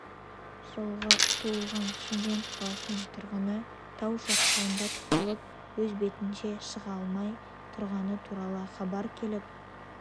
жылғы туылған шымкент қаласының тұрғыны тау шатқалында тұтылып өз бетінше шыға алмай тұрғаны туралы хабар келіп